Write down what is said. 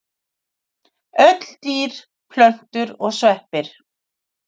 Öll dýr, plöntur og sveppir.